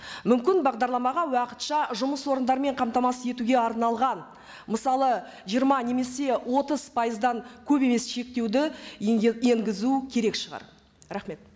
мүмкін бағдарламаға уақытша жұмыс орындармен қамтамасыз етуге арналған мысалы жиырма немесе отыз пайыздан көп емес шектеуді енгізу керек шығар рахмет